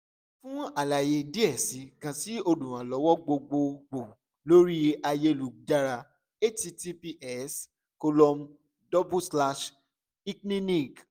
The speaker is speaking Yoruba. fun alaye diẹ sii kan si oluranlọwọ gbogbogbo lori ayelujara https://icliniq